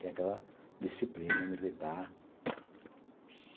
Tem aquela disciplina militar.